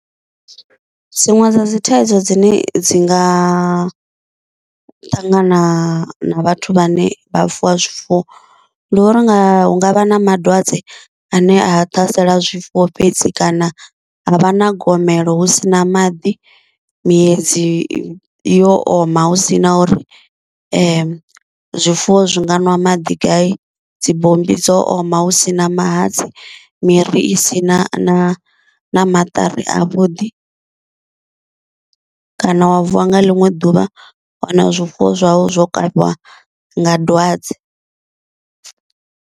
Dziṅwe dza dzi thaidzo dzine dzi nga ṱangana na vhathu vha ne vha fuwa zwifuwo, ndi uri hu ngavha na madwadze ane a ṱhasela zwifuwo fhedzi, kana havha na gomelo hu sina maḓi, miedzi yo oma hu sina uri zwifuwo zwi nga ṅwa maḓi gai, dzibommbi dzo oma hu sina mahatsi, miri i si na na maṱari a vhuḓi, kana wa vuwa nga ḽiṅwe ḓuvha wa wana zwifuwo zwau zwo kavhiwa nga dwadze.